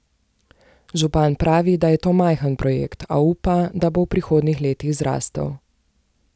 Župan pravi, da je to majhen projekt, a upa, da bo v prihodnjih letih zrastel.